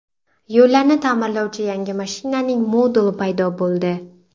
Yo‘llarni ta’mirlovchi yangi mashinaning moduli paydo bo‘ldi .